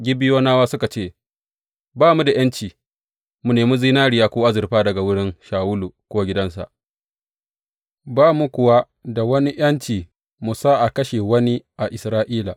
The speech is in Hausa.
Gibeyonawa suka ce, Ba mu da ’yanci mu nemi zinariya ko azurfa daga wurin Shawulu ko gidansa, ba mu kuwa da wani ’yanci mu sa a kashe wani a Isra’ila.